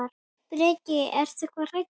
Breki: Ertu ekkert hræddur?